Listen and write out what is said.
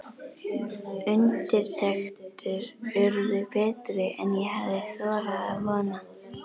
Undirtektir urðu betri en ég hafði þorað að vona.